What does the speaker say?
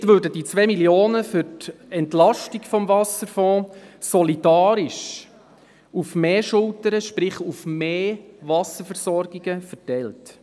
Damit würden die 2 Mio. Franken für die Entlastung des Wasserfonds solidarisch auf mehr Schultern – sprich: auf mehr Wasserversorgungen – verteilt.